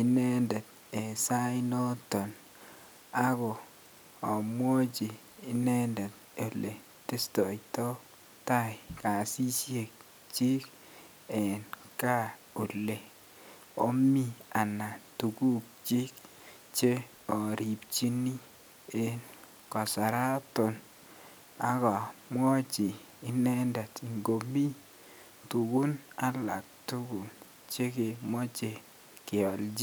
inendet en sainoton ak amwochi inendet eletestoito taai kasishek kyiik en kaa olee omii anan tukukyik cheoripchini en kasaraton ak omwochi inendet ngomii tukun alaktukul chekemoche kiolchi.